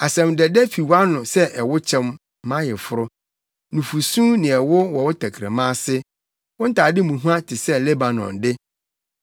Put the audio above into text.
Asɛm dɛdɛ fi wʼano sɛ ɛwokyɛm, mʼayeforo; nufusu ne ɛwo wɔ wo tɛkrɛma ase. Wo ntade mu hua te sɛ Lebanon de.